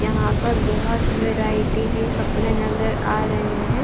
यहाँ पर बहुत वैरायटी की कपड़े नज़र आ रहे हैं।